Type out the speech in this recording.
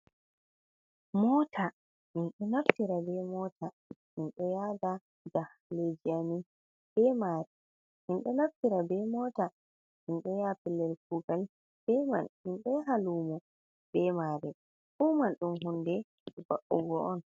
Mota minɗo narfira be mota minɗo yada hajeji amin be man, minɗo narfira be mota minɗo ya fellel kugal be man, minɗo yaha lumo be mare, fuman ɗum hunde ba'ugo on.